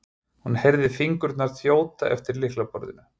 hún heyrði fingurna þjóta eftir lyklaborðinu.